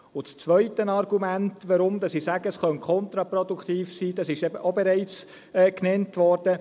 Das zweite Argument, weshalb ich sage, es könne kontraproduktiv sein, ist auch bereits genannt worden.